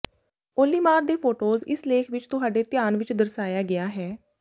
ਉੱਲੀਮਾਰ ਦੇ ਫੋਟੋਜ਼ ਇਸ ਲੇਖ ਵਿਚ ਤੁਹਾਡੇ ਧਿਆਨ ਵਿਚ ਦਰਸਾਇਆ ਗਿਆ ਹੈ